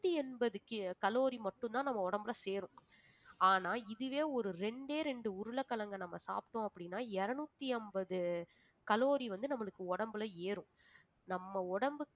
நூத்தி எண்பது ki~ calorie மட்டும்தான் நம்ம உடம்புல சேரும் ஆனா இதுவே ஒரு இரண்டே ரெண்டு உருளைக்கிழங்கை நம்ம சாப்பிட்டோம் அப்படின்னா இருநூத்தி ஐம்பது calorie வந்து நம்மளுக்கு உடம்புல ஏறும் நம்ம உடம்புக்கு